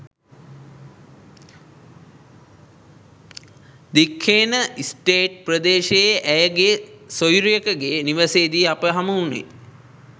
Dikhena state ප්‍රදේශයේ ඇයගේ සොයුරියකගේ නිවසේදී අප හමුවුණේ.